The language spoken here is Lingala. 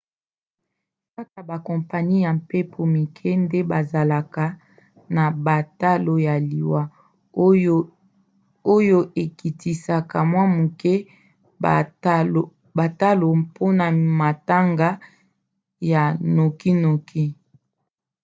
kaka bakompani ya mpepo mike nde bazalaka na batalo ya liwa oyo ekitisaka mwa moke batalo mpona matanga ya nokinoki